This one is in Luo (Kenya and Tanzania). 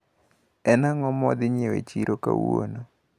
En ang`o mawadhi nyiewo e chiro kawuono?